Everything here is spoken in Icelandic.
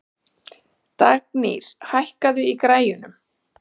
Dagnýr, hækkaðu í græjunum.